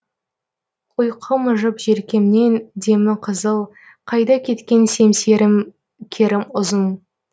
ұйқы мыжып желкемнен демі қызыл қайда кеткен семсерім керім ұзын